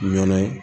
Ɲɛnɛ